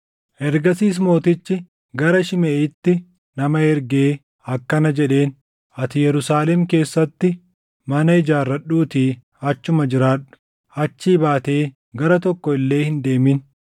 Ergasiis mootichi gara Shimeʼiitti nama ergee akkana jedheen; “Ati Yerusaalem keessatti mana ijaarradhuutii achuma jiraadhu; achii baatee gara tokko illee hin deemin.